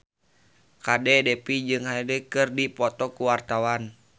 Kadek Devi jeung Hyde keur dipoto ku wartawan